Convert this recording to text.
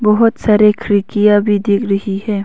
बहुत सारे खिड़कियां भी दिख रही है।